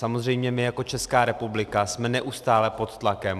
Samozřejmě my jako Česká republika jsme neustále pod tlakem.